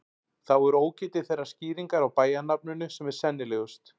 Þá er ógetið þeirrar skýringar á bæjarnafninu sem er sennilegust.